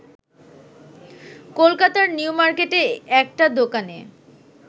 কলকাতার নিউমার্কেটে একটা দোকানে